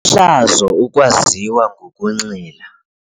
hlazo ukwaziwa ngokunxila.